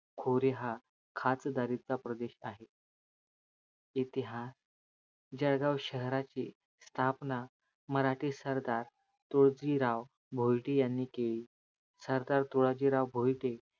खोरी हा खाचदरीच प्रदेश आहे इतिहास जळगाव शहराची स्थापना मराठी सरदार तुळजीराव भोईटे यांनी केले सरदार तुळाजीराव भोईटे